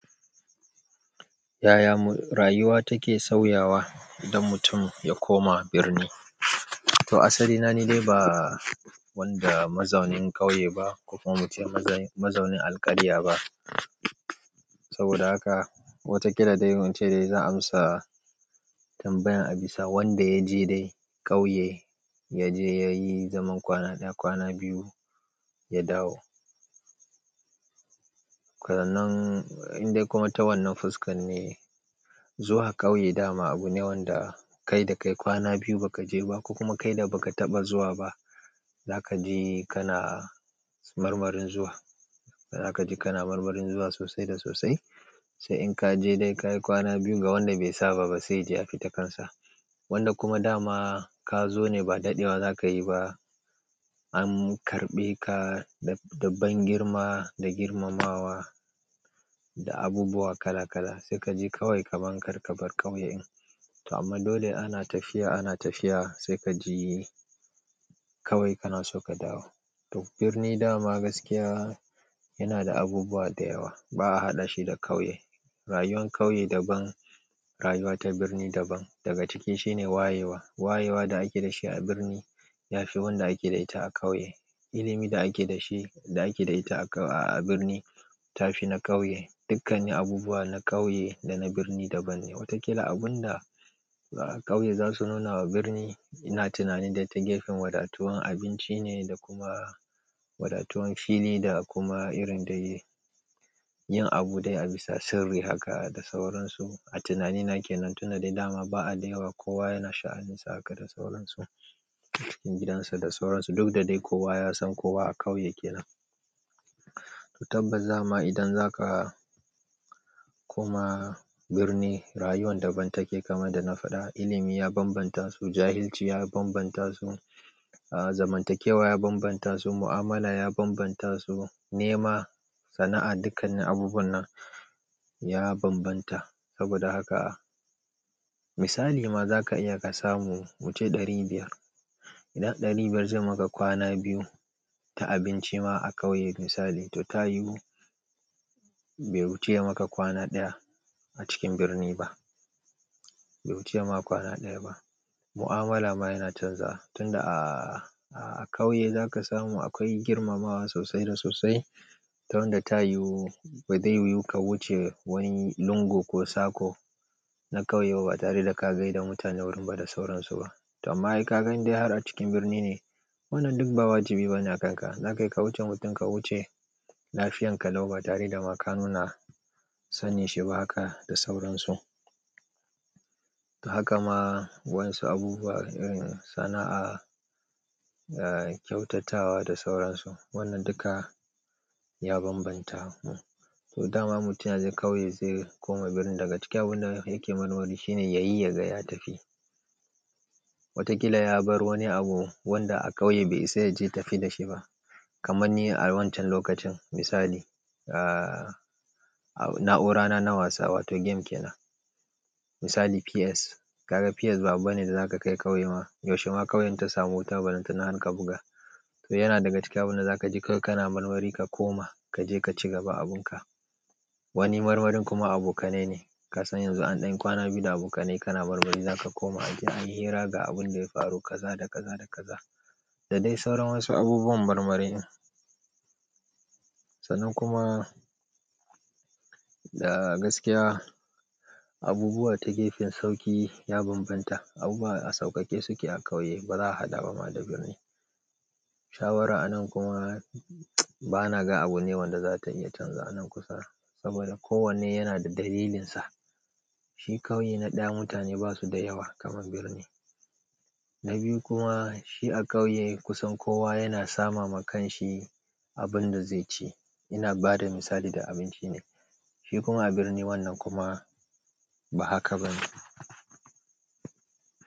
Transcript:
Ya ya rayuwa take sauyawa don mutum ya koma birni. To asali na ni dai ba wanda mazaunin ƙauye ba ko kuma muce mazaunin alƙarya ba. Saboda haka wataƙila dai wance dai zan amsa tambayan abisa wanda yaje dai ƙauye yaje yayi zaman kwana ɗaya kwana biyu ya dawo. Rannan in dai kuma tawannan fuskan ne zuwa ƙauye dama abu ne wanda kai da kai kwana biyu baka je ba ko kuma kaina baka taɓa zuwa ba. Zaka ji kana marmarin zuwa. Zaka ji kana marmarin zuwa sosai da sosai. Sai in kaje dai kayi kwana biyu ga wanda be saba ba sai ji ya fita kansa. Wanda kuma dama ka zo ne ba daɗewa zakayi ba. An karɓe ka da daban girma da girmamawa da abubuwa kala kala. Sai kaji kawai kamar kar kabar ƙauye. To amma dole ana tafiya ana tafiya sai kaji kawai kana so ka dawo. To birni dama gaskiya yana da abubuwa da yawa ba'a haɗa shi da ƙauye. Rayuwan ƙauye daban, rayuwa ta birni daban. Daga ciki shine wayewa. Wayewa da ake da shi a birni ya fi wanda ake da ita a ƙauye. Ilimi da ake da shi da ake da ita a ƙau-- a birni tafi na ƙauye. Dukkanin abubuwa na ƙauye da na birni daban ne. Wataƙila abun da ƙauye zasu nuna wa birni ina tunanin dai ta gefen wadatuwan abinci ne da kuma wadatuwan fili da kuma irin da yi, yin abu dai a bisa sirri haka da sauransu. A tunanina ke nan tuna dai dama ba adawa kowa yana sha'anin sa haka da sauransu. Cikin gidansa da sauransu duk da dai kowa ya san kowa a ƙauye kenan. To tabbas dama idan zaka koma birni rayuwan daban take kamar da na faɗa. Ilimi ya bambanta su, jahilci ya bambanta su, ah zamantakewa ya bambanta su, mu'amala ya bambanta su, nema, sana'a dukkanin abubuwan nan ya bambanta. Saboda haka misali ma zaka iya ka samu wuce ɗari biyar. Idan ɗari biyar zai maka kwana biyu ta abinci ma a ƙauye misali to ta yiwu bai wuce maka kwana ɗaya a cikin birni ba. Bai wuci yama kwana ɗaya ba. Mu'amala ma yana canza tun da a, a ƙauye zaka samu akwai girmamawa sosai da sosai. Ta wanda ta yiwu ba zai yiwu ka wuce wani lungu ko sako na ƙauye ba batare ta ka gaida mutune wurin ba da sauran su ba to amma kai ka gani dai har a cikin birni ne wannan duk ba wajibi bane a kanka. Na kai ka wuce mutum ka wuce lafiyan ka lau ba tare da ma ka nuna sanin shi ba haka da sauransu. Haka ma wasu abubuwa irin sana'a, ah kyautatawa da sauransu wannan duka ya bambanta mu. To dama mutum yazo ƙauye zai koma birni daga ciki abun da yake murmuri shine yayi yaga ya tafi. Wataƙila ya bar wani abu wanda a ƙauye bai isa yaje tafi da shi ba. Kamanni a wancan lokacin misali ah na'urana na wasa wato game kenan. Misali PS. Kaga PS ba abu bane da zaka kai ƙauye ma. Yaushe ma ƙauyen ta samu wutar ballanta na har ka buga. To yana daga ciki abun da zakaji kawai kana murmuri ka koma kaje ka ci gaba abun ka. Wani marmarin kuma abokanai ne. Kasan yanzu an ɗan kwana biyu da abokanai kana barbari zaka koma gida ayi hira ga abun da ya faru kaza da kaza da kaza. Da dai sauran wasu abubuwan marmarin. Sanan kuma da gaskiya abubuwa ta gefen sauƙi ya bambanta. Abu a sauƙaƙe suke a ƙauye ba za'a haɗa ba ma da birni. Shawara anan kuma bana ga abu ne wanda zata iya canza anan kusa saboda kowanne yana da dalilinsa. Shi ƙauye na ɗaya mutane basu da yawa kamar birni. Na biyu kuma shi a ƙauye kusan kowa yana sama ma kanshi abunda zaici ina bada misali da abinci ne. Shi kuma a birni wannan kuma ba haka bane.